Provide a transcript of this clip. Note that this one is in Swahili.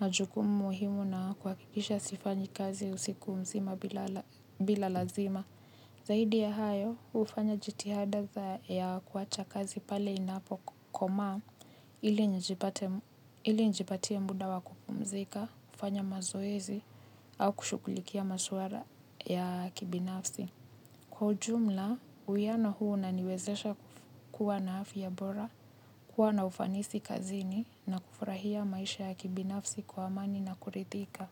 majukumu muhimu na kuhakikisha sifanyi kazi siku mzima bila lazima. Zaidi ya hayo hufanya jitihada za ya kuwacha kazi pale inapokomaa ili nijipatie muda wa kupumzika, kufanya mazoezi au kushughulikia masuara ya kibinafsi. Kwa jumla, uwiano huu unaniwezesha kuwa na afya bora, kuwa na ufanisi kazini na kufurahia maisha ya kibinafsi kwa amani na kuridhika.